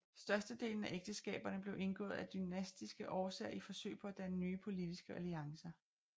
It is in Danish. Størstedelen af ægteskaberne blev indgået af dynastiske årsager i forsøg på at danne nye politiske alliancer